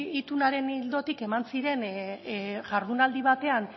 itunaren ildotik eman ziren jardunaldi batean